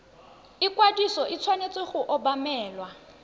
ikwadiso e tshwanetse go obamelwa